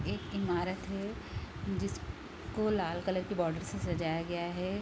एक ईमारत है जिस को लाल कलर के बॉर्डर से सजाया गया है |